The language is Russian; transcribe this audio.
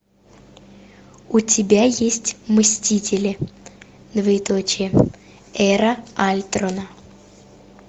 у тебя есть мстители двоеточие эра альтрона